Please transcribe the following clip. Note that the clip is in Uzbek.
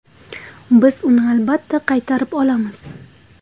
Biz uni albatta qaytarib olamiz.